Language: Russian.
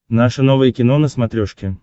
наше новое кино на смотрешке